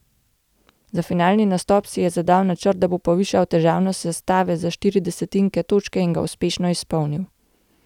Za finalni nastop si je zadal načrt, da bo povišal težavnost sestave za štiri desetinke točke, in ga uspešno izpolnil.